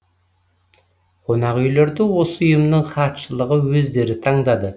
қонақүйлерді осы ұйымның хатшылығы өздері таңдады